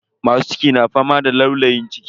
Masu ciki na fama da laulayin ciki.